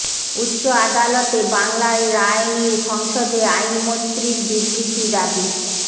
উচ্চ আদালতে বাংলায় রায় নিয়ে সংসদে আইনমন্ত্রীর বিবৃতি দাবি